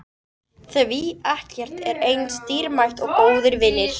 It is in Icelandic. Því ekkert er eins dýrmætt og góðir vinir.